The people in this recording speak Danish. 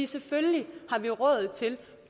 selvfølgelig har vi råd til